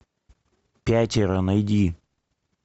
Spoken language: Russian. пятеро найди